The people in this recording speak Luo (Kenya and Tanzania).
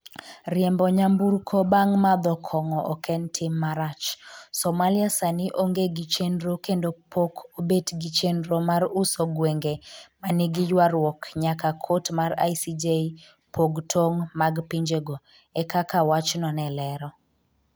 'riembo nyamburko bang’ madho kong’o ok en tim marach” “Somalia sani onge gi chenro kendo pok obet gi chenro mar uso gwenge ma nigi ywaruok nyaka kot mar ICJ pog tong’ mag pinjego,” e kaka wachno ne olero.